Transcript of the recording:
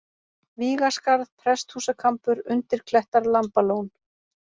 Vígaskarð, Presthúsakampur, Undirklettar, Lambalón